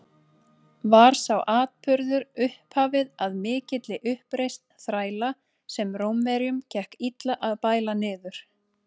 Var sá atburður upphafið að mikilli uppreisn þræla, sem Rómverjum gekk illa að bæla niður.